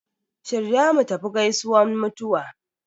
Shirya mutafi gaisuwan mutuwa